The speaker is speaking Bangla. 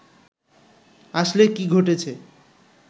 আসলে কি ঘটেছে